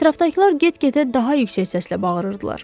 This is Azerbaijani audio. Ətrafdakılar get-gedə daha yüksək səslə bağırırdılar.